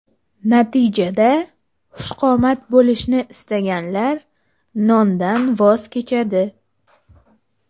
Natijada xushqomat bo‘lishni istaganlar, nondan voz kechadi.